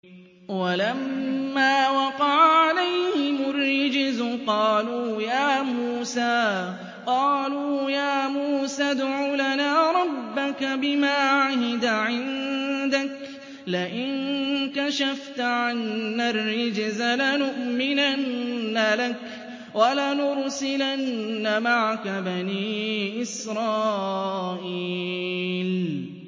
وَلَمَّا وَقَعَ عَلَيْهِمُ الرِّجْزُ قَالُوا يَا مُوسَى ادْعُ لَنَا رَبَّكَ بِمَا عَهِدَ عِندَكَ ۖ لَئِن كَشَفْتَ عَنَّا الرِّجْزَ لَنُؤْمِنَنَّ لَكَ وَلَنُرْسِلَنَّ مَعَكَ بَنِي إِسْرَائِيلَ